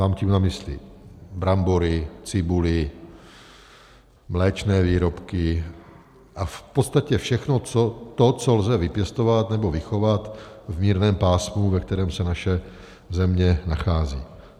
Mám tím na mysli brambory, cibuli, mléčné výrobky a v podstatě všechno to, co lze vypěstovat nebo vychovat v mírném pásmu, ve kterém se naše země nachází.